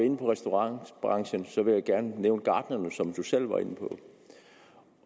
inde på restaurationsbranchen og så vil jeg gerne nævne gartnerierne som selv var inde på